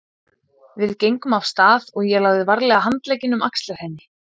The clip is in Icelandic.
Við gengum af stað og ég lagði varlega handlegginn um axlir henni.